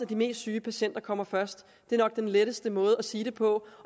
de mest syge patienter kommer først det er nok den letteste måde at sige det på